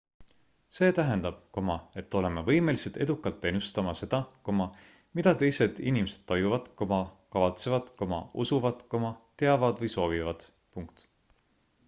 see tähendab et oleme võimelised edukalt ennustama seda mida teised inimesed tajuvad kavatsevad usuvad teavad või soovivad